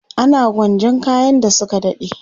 ana gwanjan kayan da Suka dade